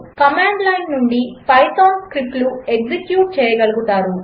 2 command line నుండి Python స్క్రిప్ట్లు execute చేయగలుగుతారు